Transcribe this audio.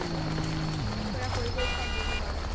পুৰা কৰিব start দিম ঘৰতো